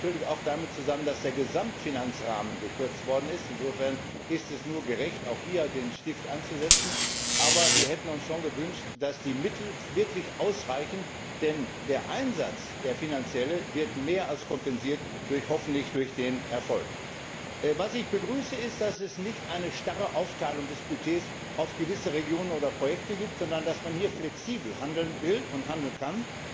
Das hängt natürlich auch damit zusammen, dass der Gesamtfinanzrahmen gekürzt worden ist. Insofern ist es nur gerecht, auch hier den Stift anzusetzen, aber wir hätten uns schon gewünscht, dass die Mittel wirklich ausreichen, denn der finanzielle Einsatz wird hoffentlich durch mehr als den Erfolg kompensiert. Ich begrüße, dass es nicht eine starre Aufteilung des Budgets auf gewisse Regionen oder Projekte gibt, sondern dass man hier flexibel handeln will und handeln